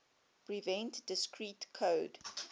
prevent discrete code